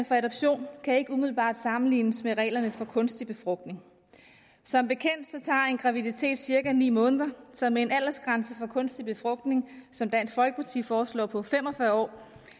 for adoption kan ikke umiddelbart sammenlignes med reglerne for kunstig befrugtning som bekendt tager en graviditet cirka ni måneder så med en aldersgrænse for kunstig befrugtning som dansk folkeparti foreslår på fem og fyrre år